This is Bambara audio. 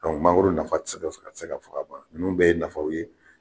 Dɔnku mangoro nafa tɛ se ka fɔ ka ban, a tɛse fɔ kaban, ninnu bɛɛ ye nafaw ye.